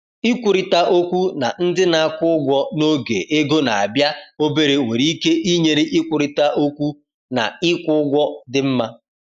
Ikwurịta okwu na ndị na-akwụ ụgwọ n’oge ego na-abịa obere nwere ike inyere ịkwurịta okwu ka ịkwụ ụgwọ dị mma.